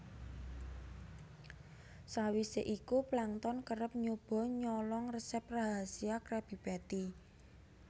Sawise iku Plankton kerep nyoba nyolong resep rahasia Krabby Patty